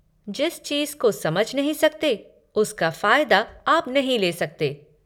जिस चीज़ को समझ नहीं सकते, उसका फ़ायदा आप नहीं ले सकते।